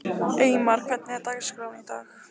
Eymar, hvernig er dagskráin í dag?